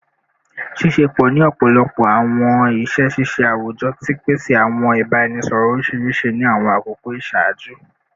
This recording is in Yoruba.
Ṣiṣepọ ni ọpọlọpọ awọn iṣẹ ṣiṣe awujọ ti pese awọn ibaraẹnisọrọ oriṣiriṣi ni awọn akoko iṣaaju